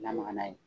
Lamaga n'a ye